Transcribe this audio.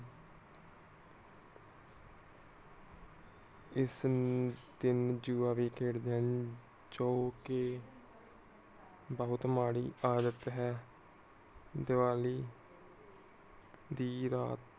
ਇਸ ਦਿਨ ਲੋਗ ਜੁਆ ਵੀ ਖੇਡਦੇ ਹਨ ਜੋ ਕਿ ਬਹੁਤ ਮਾੜੀ ਆਦਤ ਹੈ ਦੀਵਾਲੀ ਦੀ ਰਾਤ